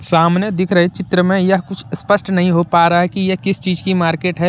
सामने दिख रही चित्र में यह कुछ स्पष्ट नहीं हो पा रहा है कि यह किस चिज की मार्केट है।